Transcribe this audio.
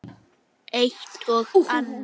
Eitt og annað.